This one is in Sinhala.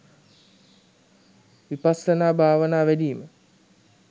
විපස්සනා භාවනා වැඩීම